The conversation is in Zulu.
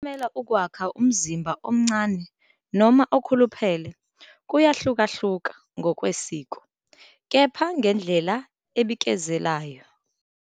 Ukuncamela ukwakha umzimba omncane noma okhuluphele kuyahlukahluka ngokwesiko, kepha ngendlela ebikezelayo.